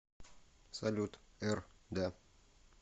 салют р да